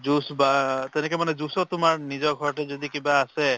juice বা তেনেকে juice তোমাৰ, নিজৰ ঘৰ তো যদি কিবা আছে